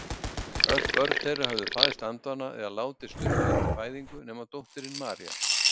Öll börn þeirra höfðu fæðst andvana eða látist stuttu eftir fæðingu nema dóttirin María.